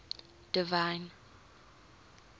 divine